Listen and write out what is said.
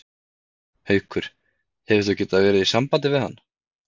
Haukur: Hefurðu getað verið í sambandi við hann?